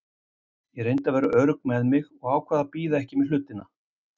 Ég reyndi að vera örugg með mig og ákvað að bíða ekki með hlutina.